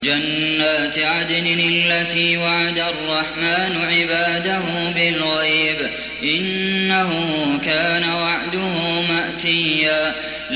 جَنَّاتِ عَدْنٍ الَّتِي وَعَدَ الرَّحْمَٰنُ عِبَادَهُ بِالْغَيْبِ ۚ إِنَّهُ كَانَ وَعْدُهُ مَأْتِيًّا